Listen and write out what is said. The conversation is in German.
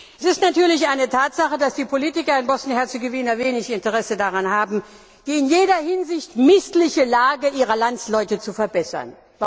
Es ist natürlich eine Tatsache, dass die Politiker in Bosnien Herzegowina wenig Interesse daran haben, die in jeder Hinsicht missliche Lage ihrer Landsleute zu verbessern.